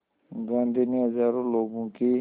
गांधी ने हज़ारों लोगों की